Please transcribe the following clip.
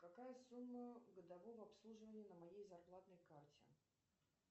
какая сумма годового обслуживания на моей зарплатной карте